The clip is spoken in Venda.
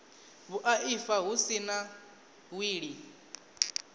vhuaifa hu si na wili